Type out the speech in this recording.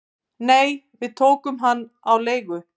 """Nei, við tókum hann á leigu"""